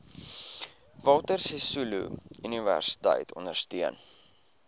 walter sisuluuniversiteit ondersteun